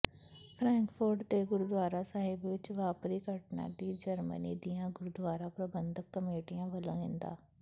Frankfurt ਦੇ ਗੁਰਦੁਆਰਾ ਸਾਹਿਬ ਵਿੱਚ ਵਾਪਰੀ ਘਟਨਾ ਦੀ ਜਰਮਨੀ ਦੀਆਂ ਗੁਰਦੁਆਰਾ ਪ੍ਰਬੰਧਕ ਕਮੇਟੀਆਂ ਵੱਲੋਂ ਨਿੰਦਾ